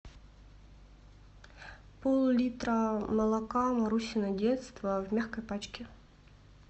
пол литра молока марусино детство в мягкой пачке